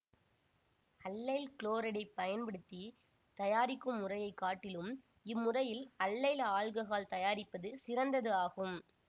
allyl குளோரைடைப் பயன்படுத்தி தயாரிக்கும் முறையை காட்டிலும் இம்முறையில் அல்லைல் ஆல்ககால் தயாரிப்பது சிறந்தது ஆகும்